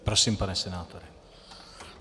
Prosím, pane senátore.